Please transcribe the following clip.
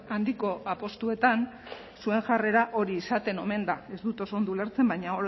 handiko apustuetan zuen jarrera hori izaten omen da ez dut oso ondo ulertzen baina